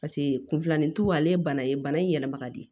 Paseke kun filanin tu ale ye bana ye bana in yɛlɛma ka di